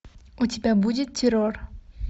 у тебя будет террор